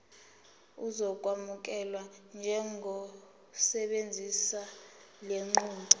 uzokwamukelwa njengosebenzisa lenqubo